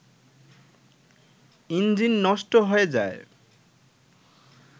engine নষ্ট হয়ে যায়